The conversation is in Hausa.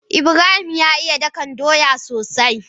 Ibrahim ya iya ɗakan soya sosai.